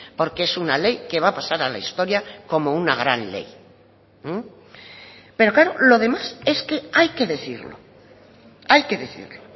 porque es una ley que va a pasar a la historia como una gran ley pero claro lo demás es que hay que decirlo hay que decirlo